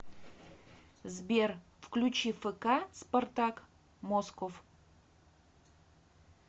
сбер включи фк спартак москов